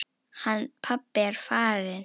Hann pabbi er farinn.